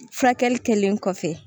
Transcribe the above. Furakɛli kɛlen kɔfɛ